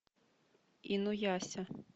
инуяся